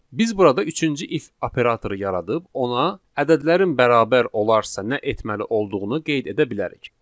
Biz burada üçüncü if operatoru yaradıb ona ədədlərin bərabər olarsa nə etməli olduğunu qeyd edə bilərik.